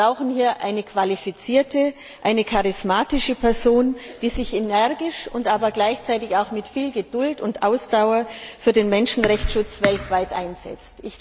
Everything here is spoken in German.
Wir brauchen hier eine qualifizierte, eine charismatische Person, die sich energisch, aber gleichzeitig auch mit viel Geduld und Ausdauer für den Schutz der Menschenrechte weltweit einsetzt.